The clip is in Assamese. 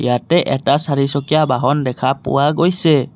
ইয়াতে এটা চাৰিচকীয়া বাহন দেখা পোৱা গৈছে।